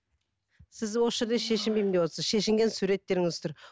сіз осы жерде шешінбеймін деп отырсыз шешінген суреттеріңіз тұр